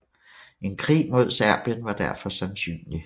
En krig mod Serbien var derfor sandsynlig